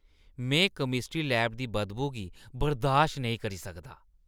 में chemistry lab दी बदबू गी बर्दाश्त नेईं करी सकदा।